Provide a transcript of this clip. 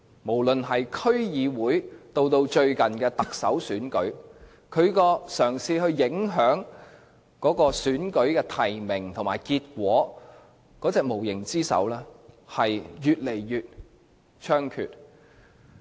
無論是區議會或最近的特首選舉，中聯辦試圖影響提名和結果的無形之手均顯得越來越猖獗。